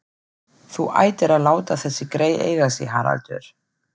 Þú ættir að láta þessi grey eiga sig, Haraldur